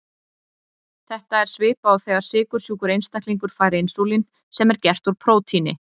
Þetta er svipað og þegar sykursjúkur einstaklingur fær insúlín sem er gert úr prótíni.